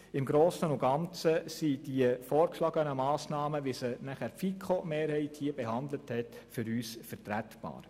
Im Grossen und Ganzen sind diese Massnahmen, wie sie auch die FiKo-Mehrheit behandelt hat, für uns vertretbar.